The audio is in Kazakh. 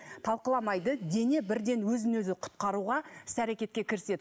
талқыламайды дене бірден өзін өзі құтқаруға іс әрекетке кіріседі